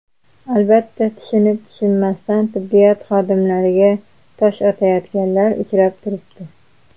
Albatta, tushunib-tushunmasdan tibbiyot xodimlariga tosh otayotganlar uchrab turibdi.